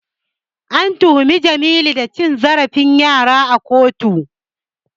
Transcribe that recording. An tuhumi Jamilu da cin zarafin yara a kotu.